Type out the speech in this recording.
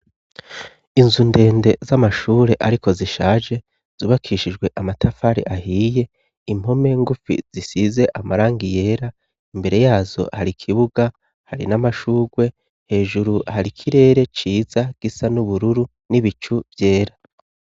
Inzu ndende z'amashure, ariko zishaje zubakishijwe amatafari ahiye impome ngufi zisize amaranga yera imbere yazo hari ikibuga hari n'amashurwe hejuru hari ikirere ciza gisa n'ubururu n'ibicu vyera.